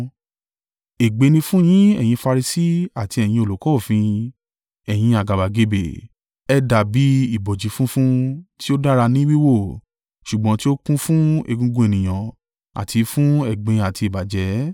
“Ègbé ni fún yín ẹ̀yin Farisi àti ẹ̀yin olùkọ́ òfin, ẹ̀yin àgàbàgebè. Ẹ dàbí ibojì funfun tí ó dára ní wíwò, ṣùgbọ́n tí ó kún fún egungun ènìyàn àti fún ẹ̀gbin àti ìbàjẹ́.